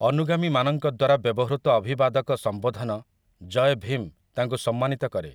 ଅନୁଗାମୀମାନଙ୍କ ଦ୍ୱାରା ବ୍ୟବହୃତ ଅଭିବାଦକ ସମ୍ବୋଧନ 'ଜୟ ଭୀମ' ତାଙ୍କୁ ସମ୍ମାନିତ କରେ ।